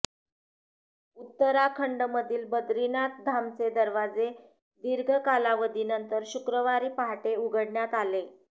उत्तराखंडमधील बद्रीनाथ धामचे दरवाजे दीर्घ कालावधीनंतर शुक्रवारी पहाटे उघडण्यात आले